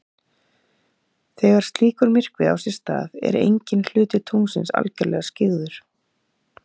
þegar slíkur myrkvi á sér stað er enginn hluti tunglsins algjörlega skyggður